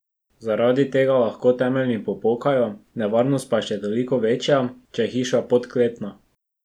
Zaradi tega lahko temelji popokajo, nevarnost pa je še toliko večja, če je hiša podkletena.